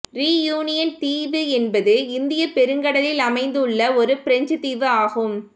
reunion தீவு என்பது இந்தியப் பெருங்கடலில் அமைந்துள்ள ஒரு பிரெஞ்சுத் தீவு ஆகும்